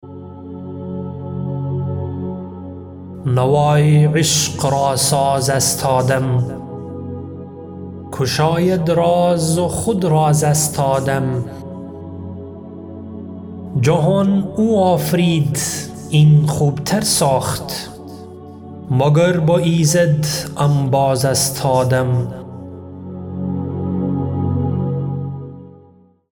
نوای عشق را ساز است آدم گشاید راز و خود رازست آدم جهان او آفرید این خوبتر ساخت مگر با ایزد انباز است آدم